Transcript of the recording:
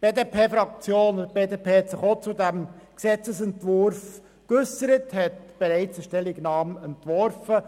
Die BDP-Fraktion hat sich ebenfalls zu diesem Gesetzesentwurf geäussert und bereits eine Stellungnahme dazu entworfen.